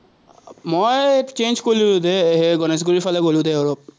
মই change কৰিলো দে, গনেশগুৰিৰফালে গ'লো দে অলপ।